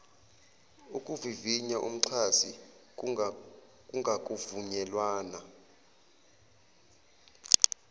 ukuvivinya umxhasi kungakavunyelwana